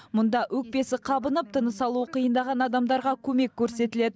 мұнда өкпесі қабынып тыныс алуы қиындаған адамдарға көмек көрсетіледі